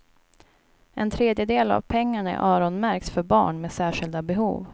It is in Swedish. En tredjedel av pengarna öronmärks för barn med särskilda behov.